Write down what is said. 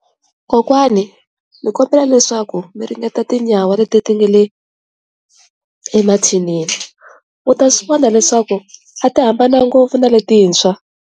Kokwani ndzi kombela leswaku mi ringeta tinyawa leti nga le emathinini u ta swi vona leswaku a ti hambananga ngopfu na letintshwa.